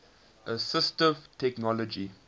assistive technology